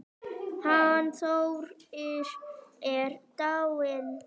Hann Þórir er dáinn